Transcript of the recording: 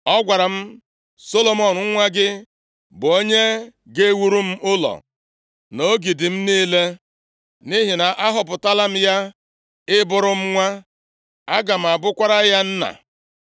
Ọ gwara m, ‘Solomọn nwa gị, bụ onye ga-ewuru m ụlọ m, na ogige m niile, nʼihi na ahọpụtala m ya ị bụrụ m nwa, aga m abụkwara ya nna.